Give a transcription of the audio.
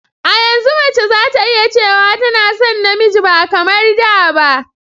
A yanzu mace zata iya cewa tana son namiji ba kamar da ba